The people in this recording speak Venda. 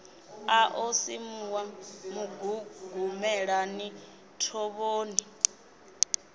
a ḓo simuwa mugugumelani thovhoni